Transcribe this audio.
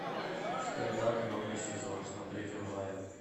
стенд ап новый сезон смотреть онлайн